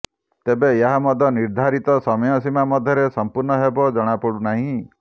ତେବେ ଏହା ମଧ୍ୟ ନିର୍ଦ୍ଧାରିତ ସମୟସୀମା ମଧ୍ୟରେ ସମ୍ପୂର୍ଣ୍ଣ ହେବ ଜଣାପଡ଼ୁ ନାହିଁ